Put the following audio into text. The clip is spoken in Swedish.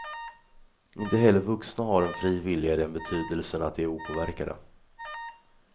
Inte heller vuxna har en fri vilja i den betydelsen att de är opåverkade.